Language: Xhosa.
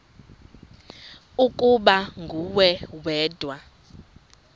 ukuba nguwe wedwa